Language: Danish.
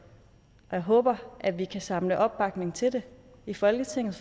og jeg håber at vi kan samle opbakning til det i folketinget